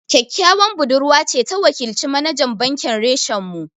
Ƙyaƙƙyawan budurwa ce ta wakilci manajan bankin reshen mu